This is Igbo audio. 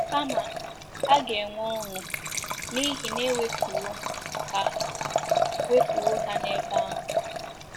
Kama, a ga-enwe ọṅụ n'ihi na e wepụwo ha wepụwo ha n'ebe ahụ.